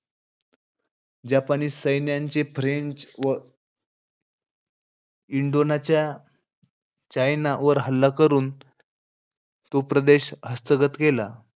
जपानी सैन्याचे फ्रेंच व इंडोनाचा चायना वर हल्ला करून तो प्रदेश हस्तगत केला.